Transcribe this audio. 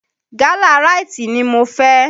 Gálà ráítì ni mo fẹ́.